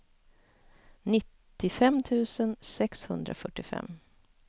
nittiofem tusen sexhundrafyrtiofem